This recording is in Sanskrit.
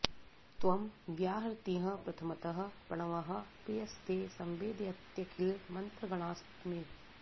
त्वं व्याहृतिः प्रथमतः प्रणवः प्रियस्ते संवेदयत्यखिल मन्त्र गणास्तमेव